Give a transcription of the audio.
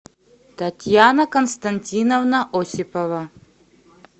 татьяна константиновна осипова